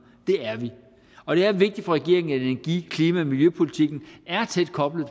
det er vi og det er vigtigt for regeringen at energi klima og miljøpolitikken er tæt koblet